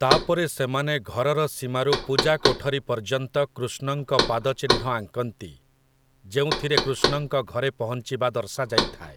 ତା'ପରେ ସେମାନେ ଘରର ସୀମାରୁ ପୂଜା କୋଠରୀ ପର୍ଯ୍ୟନ୍ତ କୃଷ୍ଣଙ୍କ ପାଦଚିହ୍ନ ଆଙ୍କନ୍ତି, ଯେଉଁଥିରେ କୃଷ୍ଣଙ୍କ ଘରେ ପହଞ୍ଚିବା ଦର୍ଶାଯାଇଥାଏ ।